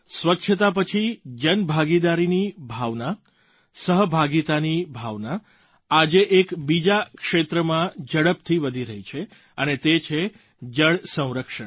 સ્વચ્છતા પછી જનભાગીદારીની ભાવના સહભાગિતાની ભાવના આજે એક બીજા ક્ષેત્રમાં ઝડપથી વધી રહી છે અને તે છે જળ સંરક્ષણ